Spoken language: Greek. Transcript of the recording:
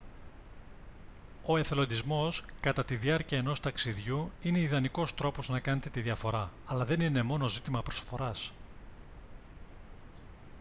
ο εθελοντισμός κατά τη διάρκεια ενός ταξιδιού είναι ιδανικός τρόπος να κάνετε τη διαφορά αλλά δεν είναι μόνο ζήτημα προσφοράς